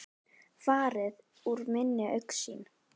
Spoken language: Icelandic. Farið úr minni augsýn.